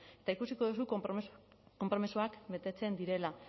eta ikusiko duzu konpromisoak betetzen direla